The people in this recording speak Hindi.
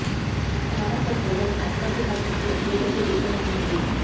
हमारा गठबंधन भाजपा के साथ बहुत मजबूत है जो टूटने वाला नहीं है